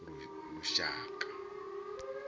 lushaka